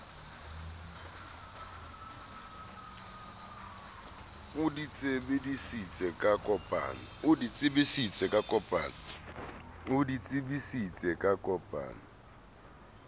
o di tsebise ka kopano